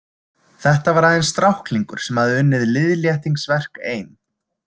Þetta var aðeins stráklingur sem hafði unnið liðléttingsverk ein.